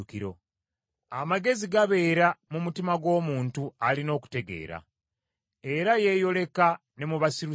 Amagezi gabeera mu mutima gw’omuntu alina okutegeera, era yeeyoleka ne mu basirusiru.